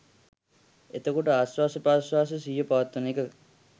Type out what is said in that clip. එතකොට ආශ්වාස ප්‍රශ්වාසයේ සිහිය පවත්වන එක